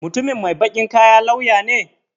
Mutumin mai baƙin kaya lauya ne?